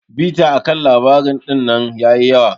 Bita akan labari dinnan yayi yawa.